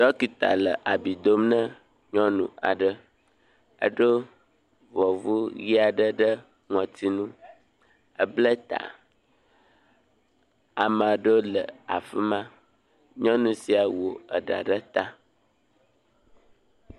Dɔkita le abi dom na nyɔnu aɖe eɖo ɖɔvu aɖe ɖe ŋɔtinu, ebla ta, ame aɖewo le afi ma nyɔnu sia wɔ eɖa ɖe ta.